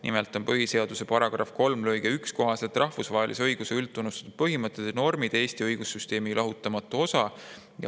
Nimelt on põhiseaduse § 3 lõike 1 kohaselt rahvusvahelise õiguse üldtunnustatud põhimõtted ja normid Eesti õigussüsteemi lahutamatu osa.